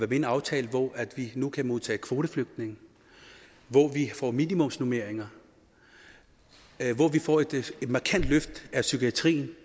i en aftale hvor vi nu kan modtage kvoteflygtninge hvor vi får minimumsnormeringer hvor vi får et markant løft af psykiatrien